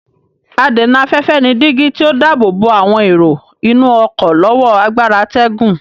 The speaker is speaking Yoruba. Adènà-afẹ́fẹ́ ni dígí tí ó dáàbò bo àwọn èrò inú ọ̀kọ́ lọ́wọ́ agbára atẹ́gùn.